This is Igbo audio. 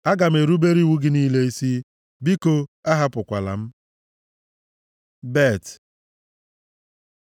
Aga m erubere iwu gị niile isi; biko ahapụkwala m. ב Bet